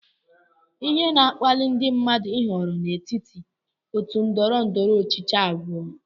Ihe na-akpali ndị mmadụ ịhọrọ n'etiti otu ndọrọ ndọrọ ọchịchị abụọ